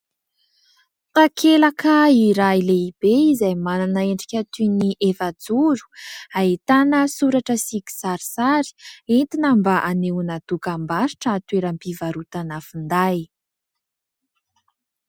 Takelaka iray lehibe izay manana endrika toy ny efajoro ahitana soratra sy kisarisary, entina mba hanehoana dokam-barotra toeram-pivarotana finday.